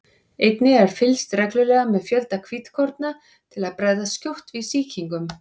Einnig er fylgst reglulega með fjölda hvítkorna til að bregðast skjótt við sýkingum.